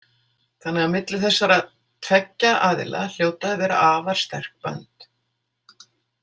Þannig að milli þessara tveggja aðila hljóta að vera afar sterk bönd.